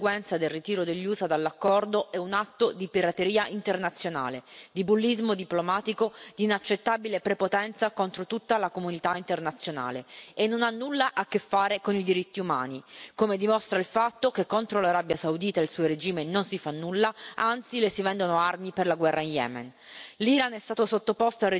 unilaterale delle sanzioni, come conseguenza del ritiro degli USA dall'accordo, è un atto di pirateria internazionale, di bullismo diplomatico, di inaccettabile prepotenza contro tutta la comunità internazionale e non ha nulla a che fare con i diritti umani, come dimostra il fatto che contro l'Arabia Saudita e il suo regime non si fa nulla, anzi le si vendono armi per la guerra in Yemen.